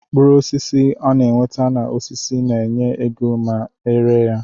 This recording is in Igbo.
Mkpụrụ osisi ana enweta na osisi na enye égo ma eree ya.